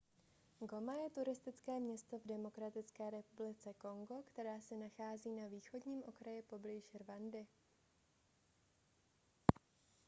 goma je turistické město v demokratické republice kongo které se nachází na východním okraji poblíž rwandy